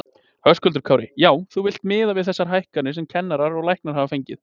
Höskuldur Kári: Já, þú villt miða við þessa hækkanir sem kennarar og læknar hafa fengið?